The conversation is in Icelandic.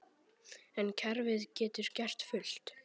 En kerfið getur gert fullt.